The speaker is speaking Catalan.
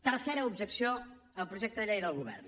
tercera objecció al projecte de llei del govern